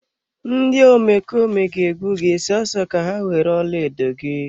Ndị omekome ga egbu gị so so ka ha were ọlaedo gị.